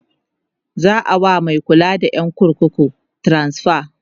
za'a wa Mai kulawa da ƴan kurkukun transfa